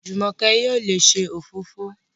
Jumoke yóò ló se òfófó.